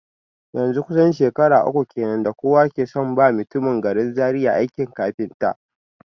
Yanzun kusan shekaru uku kenan da kowa ke son ba mutumin garin Zaria aikin kafinta